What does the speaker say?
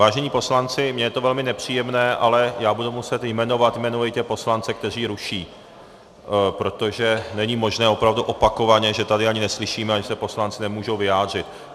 Vážení poslanci, mně je to velmi nepříjemné, ale já budu muset jmenovat jmenovitě poslance, kteří ruší, protože není možné opravdu opakovaně, že tady ani neslyšíme a že se poslanci nemůžou vyjádřit.